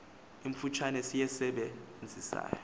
imfutshane siyisebe nzisayo